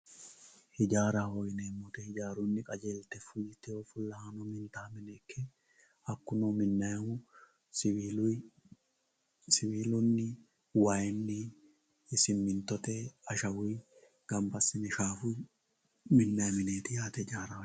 Ijjaraho yineemo woyite ijjarunni qajjeelite fulitewo fulahanno minitawo mine ikke hakuno minayihu siwiluyi, siwilunni, wayinni, siminitote, ashawuyi gamba asine shafuyi minayi mineti yaate ijjaraho yineemohu